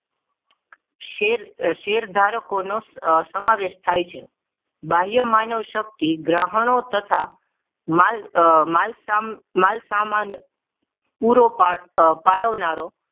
share શેરધારકો નો સમાવેશ થાય છે બાહ્ય માનવશક્તિ ગ્રહણ તથા માલ માલ સામાન પૂરો પાડ પાડનારો